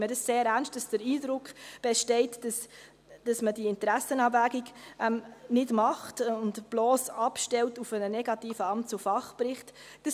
Ich nehme sehr ernst, dass der Eindruck besteht, dass man die Interessenabwägung nicht macht und sich bloss auf einen negativen Fach- und Amtsbericht stützt.